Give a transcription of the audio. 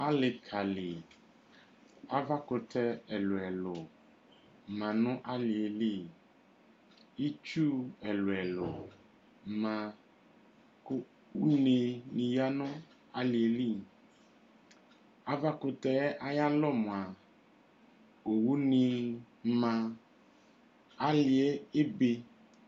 Ali ka lɩ, aʋa 'kutɛ ɛlu ɛlu ma nu alie li Ɩtsu ɛlu elu ma, une di yǝ nu alie lɩ Aʋa 'kutɛ ay'alɔ mua owu ni ma Ali'ɛ ebe